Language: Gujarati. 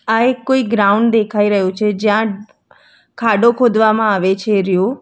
આ એક કોઈ ગ્રાઉન્ડ દેખાઈ રહ્યું છે જ્યાં ખાડો ખોદવામાં આવે છે રહ્યો.